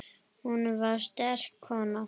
Hún var sterk kona.